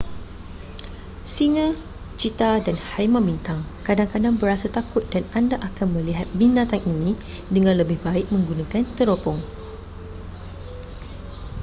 singa cheetah dan harimau bintang kadang-kadang berasa takut dan anda akan melihat binatang ini dengan lebih baik menggunakan teropong